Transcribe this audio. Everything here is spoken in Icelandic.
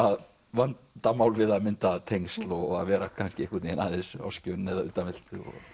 vandamál við að mynda tengsl og að vera kannski aðeins á skjön eða utanveltu